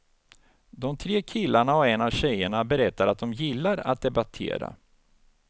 De tre killarna och en av tjejerna berättar att de gillar att debattera.